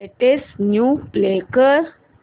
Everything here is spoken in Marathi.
लेटेस्ट न्यूज प्ले कर